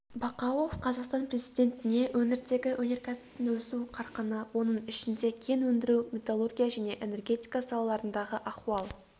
бақауов қазақстан президентіне өңірдегі өнеркәсіптің өсу қарқыны оның ішінде кен өндіру металлургия және энергетика салаларындағы ахуал